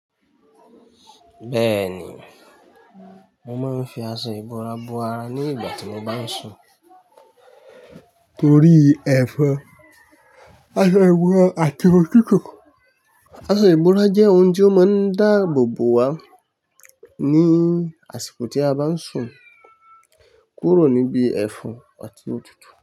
Bẹ́ẹ̀ni, mo ma ń fi aṣọ ìbora bo ara ní ìgbà tí mo bá ń sùn torí ẹ̀fọn, aṣọ ìbora àti òtútù, aṣọ ìbora jẹ́ ohun tí ó máa ń dáa àbò bòwá ní àsìkò tí a bá ń sùn kúrò níbi ẹ̀fọn àti òtútù.